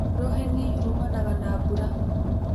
Rũheni rumanaga na mbura.